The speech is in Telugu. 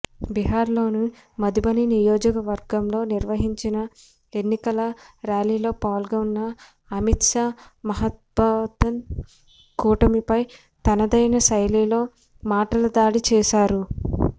బిహార్లోని మధుబని నియోజవకర్గంలో నిర్వహించిన ఎన్నికల ర్యాలీలో పాల్గొన్న అమిత్షా మహాగత్బంధన్ కూటమిపై తనదైన శైలిలో మాటల దాడి చేశారు